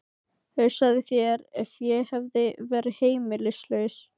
Hugsaðu þér ef ég hefði verið heimilislaus.